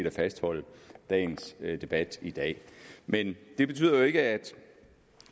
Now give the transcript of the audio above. at fastholde debatten i dag men det betyder jo ikke at